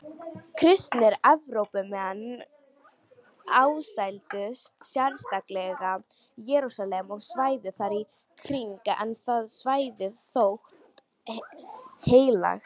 Kristnir Evrópumenn ásældust sérstaklega Jerúsalem og svæðið þar í kring en það svæði þótti heilagt.